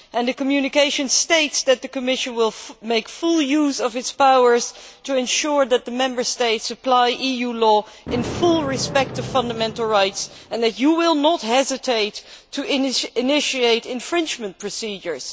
The communication states that the Commission will make full use of its powers to ensure that the Member States apply EU law, in full respect of fundamental rights, and that you will not hesitate to initiate infringement procedures.